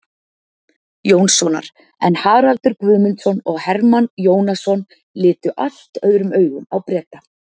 Jónssonar, en Haraldur Guðmundsson og Hermann Jónasson litu allt öðrum augum á Breta.